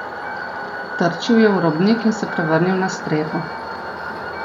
Trčil je v robnik in se prevrnil na streho.